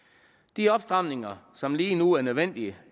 de opstramninger som lige nu er nødvendige